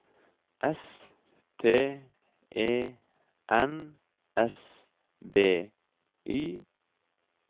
S T E N S B Y